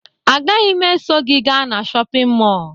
Agaghị m eso gị gaa na shọpịn mọọ